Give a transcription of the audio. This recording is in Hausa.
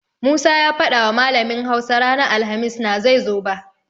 Musa ya fadawa malamin Hausa ranar alhamis na zai zo ba.